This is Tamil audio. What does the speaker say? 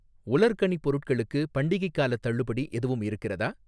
உலர்கனி பொருட்களுக்கு பண்டிகைக் காலத் தள்ளுபடி எதுவும் இருக்கிறதா?